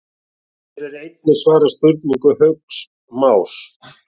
Hér er einnig svarað spurningu Hauks Más: